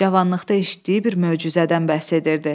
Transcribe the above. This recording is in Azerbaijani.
Cavanlıqda eşitdiyi bir möcüzədən bəhs edirdi.